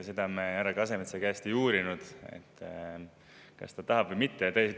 Seda me härra Kasemetsa käest ei uurinud, kas ta tahab või mitte.